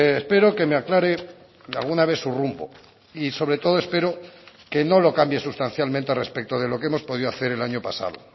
espero que me aclare alguna vez su rumbo y sobre todo espero que no lo cambie sustancialmente respecto de lo que hemos podido hacer el año pasado